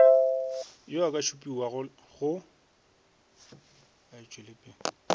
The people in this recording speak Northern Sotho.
yo a ka šupiwago go